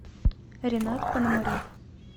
ренат пономарев